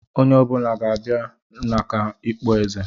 Onye ọ bụla ga-abịa maka okpueze!